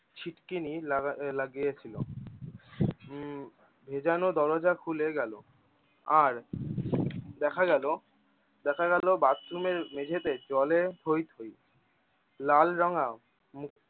ছিটকিনি লাগায়ে~ লাগিয়েছিল। উম ভেজানো দরজা খুলে গেলো আর দেখা গেলো দেখা গেলো bathroom এর মেঝেতে জলে থই থই লালরঙা মুখ